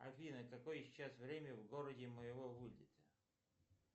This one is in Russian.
афина какое сейчас время в городе моего вылета